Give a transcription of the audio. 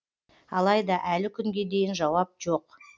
алайда әлі күнге дейін жауап жоқ